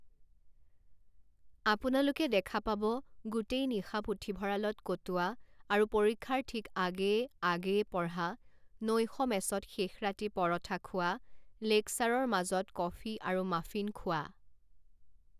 আপোনালোকে দেখা পাব গোটেই নিশা পুথিভঁৰালত কটোৱা আৰু পৰীক্ষাৰ ঠিক আগেয়ে আগেয়ে পঢ়া, নৈশ মেচত শেষ ৰাতি পৰঠা খোৱা, লেকচাৰৰ মাজত কফী আৰু মাফিন খোৱা।